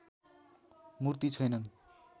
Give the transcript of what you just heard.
मूर्ति छैनन्